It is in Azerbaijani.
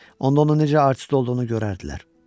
Onda onun necə arıq üstü olduğunu görərdilər.